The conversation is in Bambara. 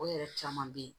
O yɛrɛ caman bɛ yen